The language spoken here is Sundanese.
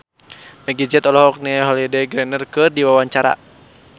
Meggie Z olohok ningali Holliday Grainger keur diwawancara